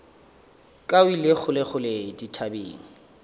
ka o ile kgolekgole dithabeng